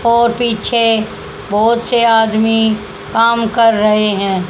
और पीछे बहोत से आदमी कम कर रहे हैं।